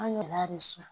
An ɲɛrɛ de si san